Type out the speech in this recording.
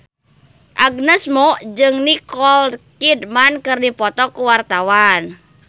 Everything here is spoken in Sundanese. Agnes Mo jeung Nicole Kidman keur dipoto ku wartawan